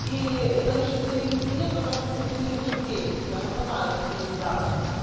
и конечно стерильности нет потому что стерилизуют перекисью она сама это стерилизатор